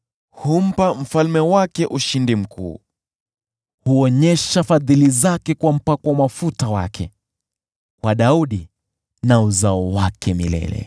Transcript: Humpa mfalme wake ushindi mkuu, huonyesha fadhili zake kwa mpakwa mafuta wake, kwa Daudi na wazao wake milele.